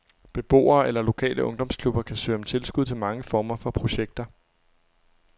Beboere eller lokale ungdomsklubber kan søge om tilskud til mange former for projekter.